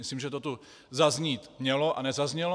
Myslím, že to tu zaznít mělo, a nezaznělo.